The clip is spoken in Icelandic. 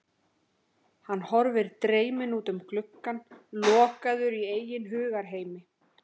Hann horfir dreyminn út um gluggann, lokaður í eigin hugarheimi.